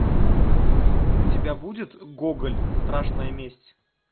у тебя будет гоголь страшная месть